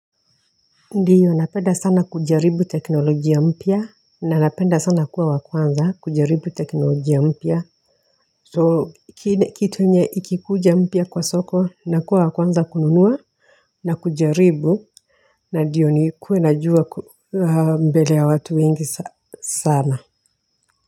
Ndiyo napenda sana kujaribu teknolojia mpya na napenda sana kuwa wa kwanza kujaribu teknolojia mpya so kitu enye ikikuja mpya kwa soko nakuwa wa kwanza kununua na kujaribu na ndiyo nikuwe najua mbele ya watu wengi sana.